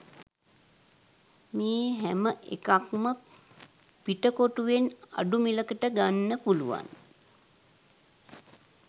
මේ හැමඑකක්ම පිටකොටුවෙන් අඩු මිලකට ගන්න පුලුවන්